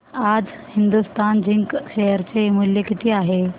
आज Hindustan Zinc share चे मूल्य किती आहे